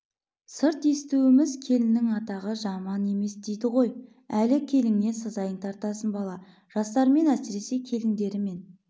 сырт естуіміз келіннің атағы жаман емес дейді ғой әлі келіннен сазайыңды тартасың бала жастармен әсіресе келіндерімен